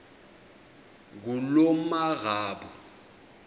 ngulomarabu